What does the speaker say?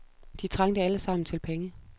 De trængte alle sammen til penge.